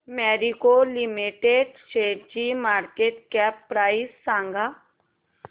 Marico limited शेअरची market cap price सांगा